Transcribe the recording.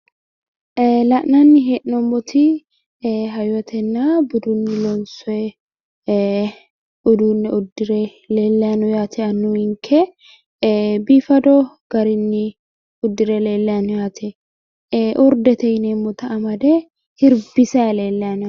La'nanni hee'noommoti ee hayyotenna budunni loonsoyi uduunne uddire leellayi no yaate annuwinke biifado garinni uddire leellanno yaate urdete yineemmota amade hirbisayi leellayi no yaate